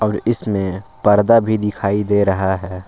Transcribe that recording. इसमें पर्दा भी दिखाई दे रहा है।